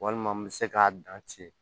Walima n bɛ se k'a dan ci